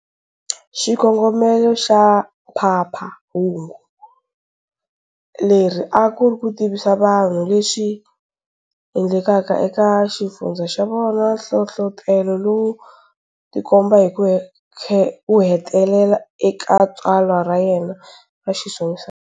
Xikongomelo xa Phephahungu leri akuri ku tivisa vanhu hileswi endlekaka eka xifundzeni xavona. Nhlohlotelo lowu wu tikombe hi kuhetelela eka tsalwa ra yena ra"Xisomisana".